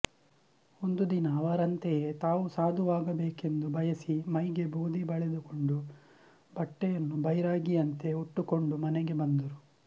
ಒಂದು ದಿನ ಅವರಂತಯೇ ತಾವೂ ಸಾಧುವಾಗಬೇಕೆಂದು ಬಯಸಿ ಮೈಗೆ ಬೂದಿ ಬಳಿದುಕೊಂಡು ಬಟ್ಟೆಯನ್ನು ಬೈರಾಗಿಯಂತೆ ಉಟ್ಟುಕೊಂಡು ಮನೆಗೆ ಬಂದರು